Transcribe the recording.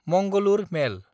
Mangalore मेल